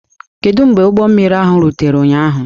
Kedu mgbe ụgbọ mmiri ahụ rutere ụnyaahụ?